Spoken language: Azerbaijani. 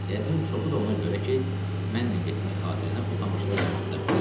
Yəqin çoxu da ona görə ki, mənlə getmək xatirinə o tamaşada oynamaq istəmirdi.